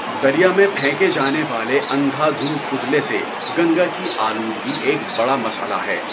دریا میں پھینکے جانے والے اندھا دھند فضلے سے گنگا کی آلودگی ایک بڑا مسئلہ ہے۔